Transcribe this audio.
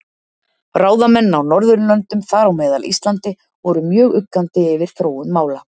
Ráðamenn á Norðurlöndum, þar á meðal Íslandi, voru mjög uggandi yfir þróun mála.